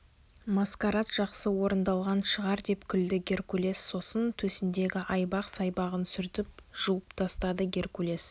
маскарад жақсы орындалған шығар деп күлді геркулес сосын төсіндегі айбақ-сайбағын сүртіп жуып тастады геркулес